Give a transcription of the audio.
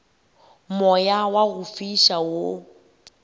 moya wa go fiša wo